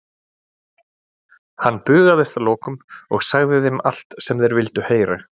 Hann bugaðist að lokum og sagði þeim allt sem þeir vildu heyra.